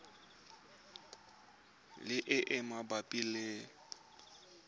le e e mabapi le